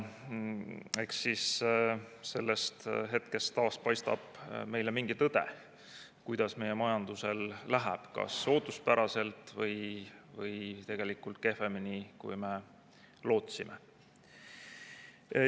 Eks siis sellest hetkest taas paistab meile mingi tõde, kuidas meie majandusel läheb – kas ootuspäraselt või kehvemini, kui me lootsime.